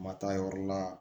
Ma taa yɔrɔ la